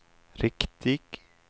riktig